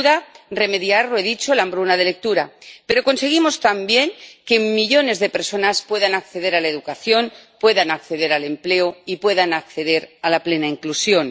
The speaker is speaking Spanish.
sin duda, remediar —lo he dicho— la hambruna de lectura, pero conseguimos también que millones de personas puedan acceder a la educación, puedan acceder al empleo y puedan acceder a la plena inclusión.